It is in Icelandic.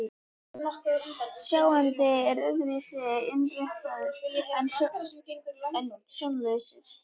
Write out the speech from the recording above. Sjáandinn er öðru vísi innréttaður en sjónlausir.